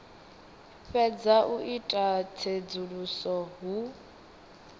fhedza u ita tsedzuluso hu